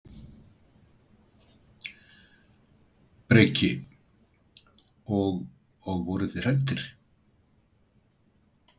Breki: Og, og voruð þið hræddir?